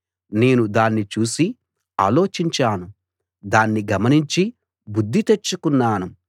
నేను దాన్ని చూసి ఆలోచించాను దాన్ని గమనించి బుద్ధి తెచ్చుకున్నాను